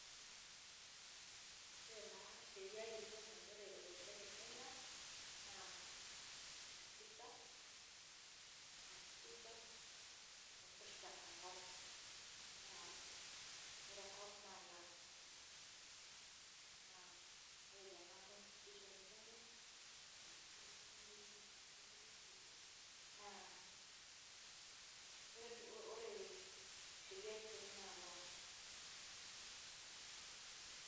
Ore taa Sheria kitok naitore olosho le Kenya naa katiba, katiba naipirta enkop. Naa ore enkop naa land naa ore tena constitution e Kenya naa ore Sheria kitok naa land.